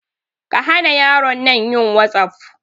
Kahana yaron nan yin wasaf.